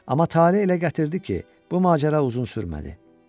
Amma tale elə gətirdi ki, bu macəra uzun sürmədi.